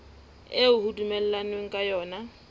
eo ho dumellanweng ka yona